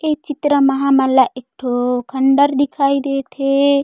ये चित्र म हमन ला एक ठो खण्डहर दिखाई देत हे।